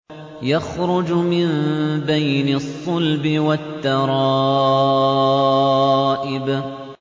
يَخْرُجُ مِن بَيْنِ الصُّلْبِ وَالتَّرَائِبِ